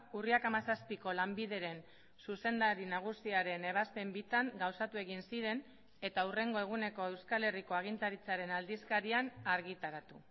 urriak hamazazpiko lanbideren zuzendari nagusiaren ebazpen bitan gauzatu egin ziren eta hurrengo eguneko euskal herriko agintaritzaren aldizkarian argitaratu